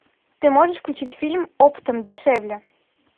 ты можешь включить фильм оптом дешевле